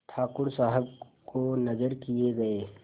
ठाकुर साहब को नजर किये गये